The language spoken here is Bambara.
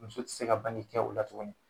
Muso te se ka bange kɛ o la tukuni.